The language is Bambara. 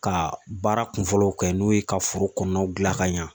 Ka baara kunfɔlɔw kɛ n'o ye ka foro kɔnɔnaw dilan ɲɛ